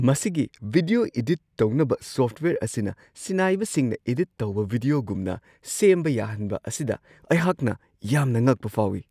ꯃꯁꯤꯒꯤ video edit ꯇꯧꯅꯕ software ꯑꯁꯤꯅ ꯁꯤꯟꯅꯥꯏꯕꯁꯤꯡꯅ ꯑꯦꯗꯤꯠ ꯇꯧꯕ ꯚꯤꯗ꯭ꯌꯣꯒꯨꯝꯅ ꯁꯦꯝꯕ ꯌꯥꯍꯟꯕ ꯑꯁꯤꯗ ꯑꯩꯍꯥꯛꯅ ꯌꯥꯝꯅ ꯉꯛꯄ ꯐꯥꯎꯋꯤ ꯫